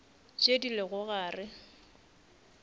tše di lego gare ga